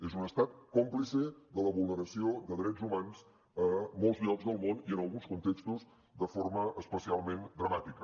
és un estat còmplice de la vulneració de drets humans a molts llocs del món i en alguns contextos de forma especialment dramàtica